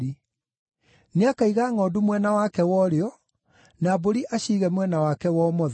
Nĩakaiga ngʼondu mwena wake wa ũrĩo, na mbũri aciige mwena wake wa ũmotho.